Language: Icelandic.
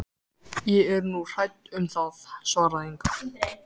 Ég er nú hrædd um það, svaraði Inga.